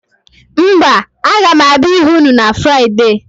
Mba, aga m abịa ịhụ ụnụ na Fraịde.